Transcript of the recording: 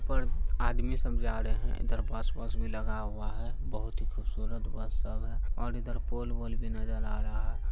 और आदमी सब भी जा रहा रहे हैं। इधर बस - वस भी लगा हुआ है। बहुत ही खुबसुरत बस सब है। और इधर पोल - वोल नजर आ रहा है।